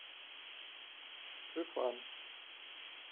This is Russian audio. шифан